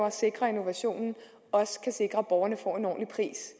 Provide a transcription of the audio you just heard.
at sikre innovationen også kan sikre at borgerne får en ordentlig pris